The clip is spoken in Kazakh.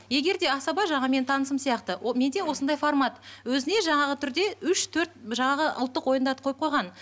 егер де асаба жаңағы менің танысым сияқты менде осындай формат өзіне жаңағы түрде үш төрт жаңағы ұлттық ойындарды қойып қойған